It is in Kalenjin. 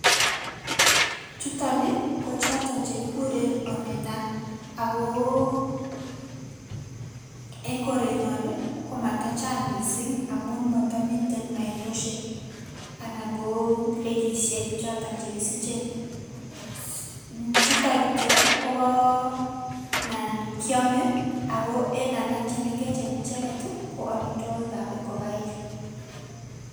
chuton ii ko choton che kikure Omena, ak ko eng korenyon ii, ko matachang mising amun motomiten ainosiek anan ko lekisiek choton che kisichen, chutok kityo kobo nan kyome ako en alak che mengechen icheket ii, ko amitwogikab ingokaik.